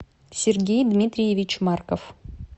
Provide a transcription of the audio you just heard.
сергей дмитриевич марков